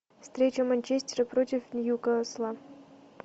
встреча манчестера против ньюкасла